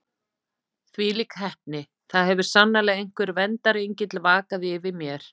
Þvílík heppni: það hefur sannarlega einhver verndarengill vakað yfir mér.